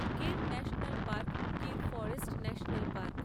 Gir national park Gir forest national park